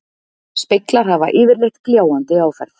Speglar hafa yfirleitt gljáandi áferð.